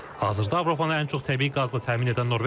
Hazırda Avropanı ən çox təbii qazla təmin edən Norveçdir.